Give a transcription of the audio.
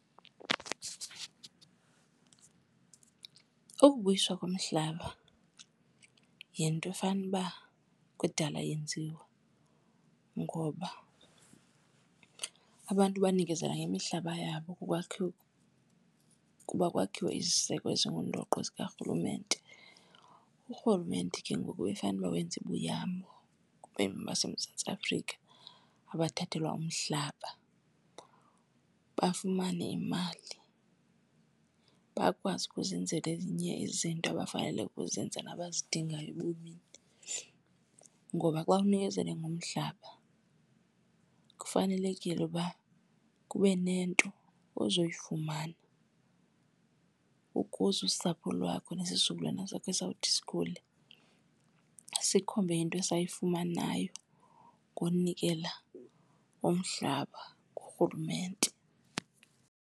Ukubuyiswa komhlaba yinto efanele uba kudala yenziwa ngoba abantu banikezela ngemihlaba yabo ukuba kwakhiwe iziseko ezingundoqo zikarhulumente. Urhulumente ke ngoku befanuba wenza ibuyambo kubemi baseMzantsi Afrika abathathelwa umhlaba, bafumane imali bakwazi ukuzenzela ezinye izinto abafanele ukuzenza nabazidingayo ebomini. Ngoba xa unikezele ngomhlaba kufanelekile uba kube nento ozoyifumana ukuze usapho lwakho nesizukulwana sakho esawuthi sikhule sikhombe into esayifumanayo ngonikela ngomhlaba kurhulumente.